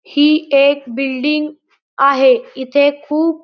ही एक बिल्डिंग आहे इथे खूप --